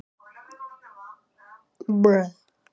Áttum við okkur ekki son?